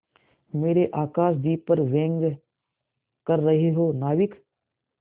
मेरे आकाशदीप पर व्यंग कर रहे हो नाविक